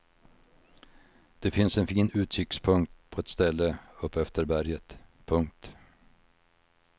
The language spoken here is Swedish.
Det finns en fin utsiktspunkt på ett ställe upp efter berget. punkt